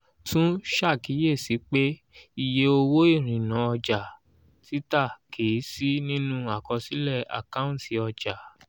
tún ṣàkíyèsí pé iye owó ìrìnnà ọjà títà kì í sí nínú àkọsílẹ̀ àkáǹtì ọjà.